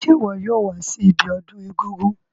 Se wo yóò wa si ibiodún egúngún